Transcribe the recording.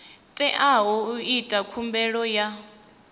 teaho u ita khumbelo ya